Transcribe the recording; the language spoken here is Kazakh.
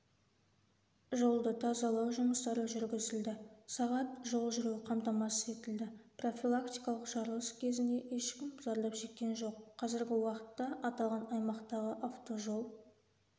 жолды тазалау жұмыстары жүргізілді сағат жол жүру қамтамасыз етілді профилактикалық жарылыс кезінде ешкім зардап шеккен жоқ қазіргі уақытта аталған аймақтағы автожол